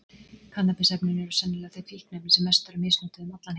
Kannabis-efnin eru sennilega þau fíkniefni sem mest eru misnotuð um allan heim.